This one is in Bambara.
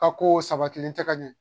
Ka ko sabatilen tɛ ka ɲɛ